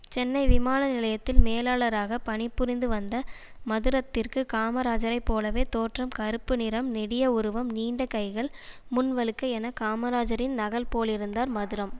சென்னை விமான நிலையத்தில் மேலாளராக பணிபுரிந்து வந்த மதுரத்திற்கு காமராஜரை போலவே தோற்றம் கறுப்பு நிறம் நெடிய உருவம் நீண்ட கைகள் முன் வழுக்கை என காமராஜரின் நகல் போலிருந்தார் மதுரம்